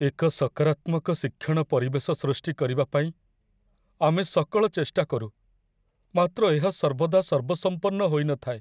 ଏକ ସକାରାତ୍ମକ ଶିକ୍ଷଣ ପରିବେଶ ସୃଷ୍ଟି କରିବା ପାଇଁ ଆମେ ସକଳ ଚେଷ୍ଟା କରୁ, ମାତ୍ର ଏହା ସର୍ବଦା ସର୍ବସମ୍ପନ୍ନ ହୋଇନଥାଏ।